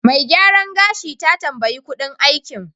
Mai gyaran gashi ta tambaye kuɗin aikin.